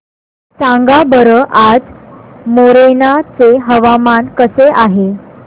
सांगा बरं आज मोरेना चे हवामान कसे आहे